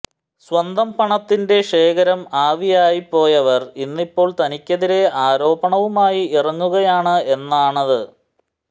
സ്വന്തം പണത്തിന്റെ ശേഖരം ആവിയായിപ്പോയവർ ഇന്നിപ്പോൾ തനിക്കെതിരെ ആരോപണവുമായി ഇറങ്ങുകയാണ് എന്നാണത്